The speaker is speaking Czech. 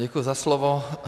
Děkuji za slovo.